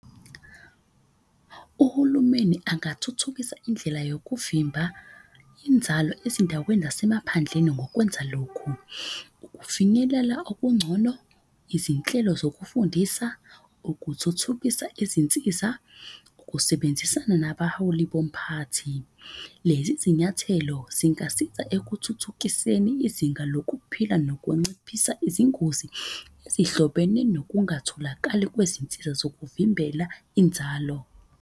Uhulumeni angathuthukisa indlela yokuvimba inzalo ezindaweni zasemaphandleni ngokwenza lokhu. Ukufinyelela okungcono, izinhlelo zokufundisa, ukuthuthukisa izinsiza, ukusebenzisana nabaholi bomphakathi. Lezi zinyathelo zingasiza ekuthuthukiseni izinga lokuphila nokunciphisa izingozi. Ezihlobene nokungatholakali kwezinsiza zokuvimbela inzalo.